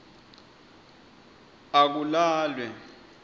akulalwe